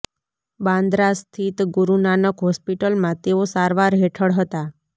બાંદ્રા સ્થિત ગુરુ નાનક હોસ્પિટલમાં તેઓ સારવાર હેઠળ હતા